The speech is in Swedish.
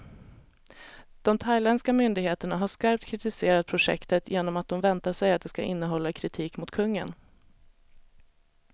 De thailändska myndigheterna har skarpt kritiserat projektet, genom att de väntar sig att det ska innehålla kritik mot kungen.